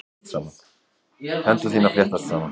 Hendur þínar fléttast saman.